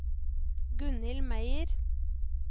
Gunhild Meyer